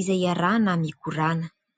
izay iarahana mikorana.